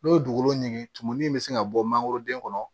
N'o ye dugukolo ɲigin bɛ se ka bɔ mangoroden kɔnɔ